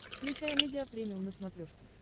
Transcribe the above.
включай амедиа премиум на смотрешке